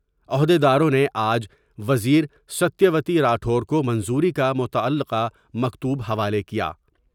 عہد یداروں نے آج وزیرستیہ وتی راٹھور کومنظوری کا متعلقہ مکتوب حوالے کیا ۔